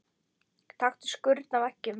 Taktu skurn af eggjum.